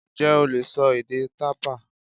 Ǹjẹ́ o lè sọ èdè tàpá?